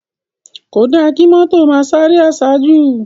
Kódá ki mòtó má sáré àsájú